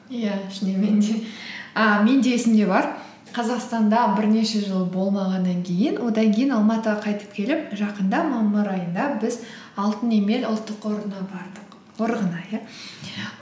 иә шынымен де і менде есімде бар қазақстанда бірнеше жыл болмағаннан кейін одан кейін алматыға қайтып келіп жақында мамыр айында біз алтын емел ұлттық қорына бардық қорығына иә